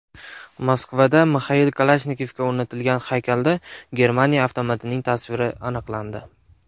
Moskvada Mixail Kalashnikovga o‘rnatilgan haykalda Germaniya avtomatining tasviri aniqlandi.